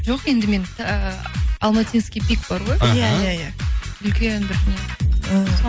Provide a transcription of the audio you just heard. жоқ енді мен ыыы алматинский пик бар ғой іхі иә иә үлкен бір не ііі